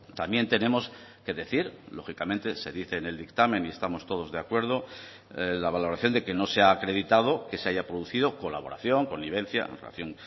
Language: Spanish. también tenemos que decir lógicamente se dice en el dictamen y estamos todos de acuerdo la valoración de que no se ha acreditado que se haya producido colaboración connivencia en relación